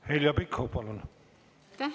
Heljo Pikhof, palun!